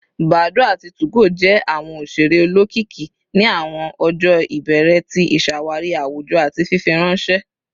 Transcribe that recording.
Badoo ati 2go jẹ awọn oṣere olokiki ni awọn ọjọ ibẹrẹ ti iṣawari awujọ ati fifiranṣẹ